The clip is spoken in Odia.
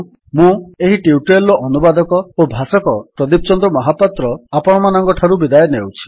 ମୁଁ ଏହି ଟ୍ୟୁଟୋରିଆଲ୍ ର ଅନୁବାଦକ ଓ ଭାଷକ ପ୍ରଦୀପ ଚନ୍ଦ୍ର ମହାପାତ୍ର ଆପଣମାନଙ୍କଠାରୁ ବିଦାୟ ନେଉଛି